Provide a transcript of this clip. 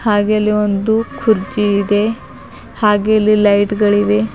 ಹಾಗೆ ಇಲ್ಲಿ ಒಂದು ಕುರ್ಚಿ ಇದೆ ಹಾಗೆ ಇಲ್ಲಿ ಲೈಟ್ ಗಳಿವೆ.